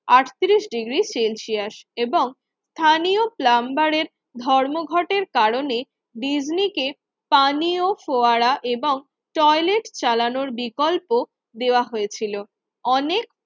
আটত্রিশ degree Celsius এবং স্থানীয় প্লাম্বারের ধর্মঘটের কারণে ডিজনিকে পানি ও ফোয়ারা এবং টয়লেট চালানোর বিকল্প দেওয়া হয়েছিল। অনেক